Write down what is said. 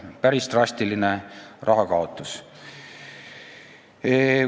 Päris drastiline raha kaotus.